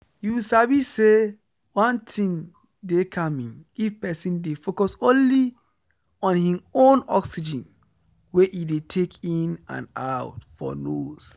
you sabi say one thing dey calming if person dey focus only on hin own oxygen wey e dey take in and out for nose.